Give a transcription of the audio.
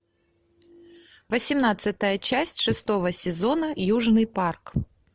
восемнадцатая часть шестого сезона южный парк